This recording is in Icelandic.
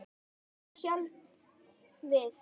Þá sjaldan við